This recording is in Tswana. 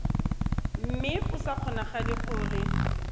mme go sa kgonagale gore